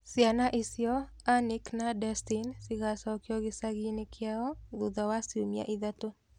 Ciana icio, Anick na Destin, cigacokio gĩcagi-inĩ kĩao thutha wa ciumia ithatũ.